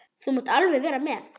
Þú mátt alveg vera með.